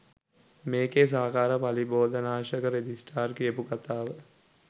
මේකේ සහකාර පලිබෝධනාශක රෙජිස්ටර් කියපු කතාව.